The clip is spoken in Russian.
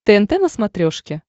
тнт на смотрешке